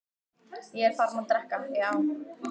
Ég er farinn að drekka, já.